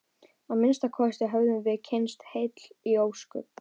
Að minnsta kosti höfðum við kysst heil ósköp.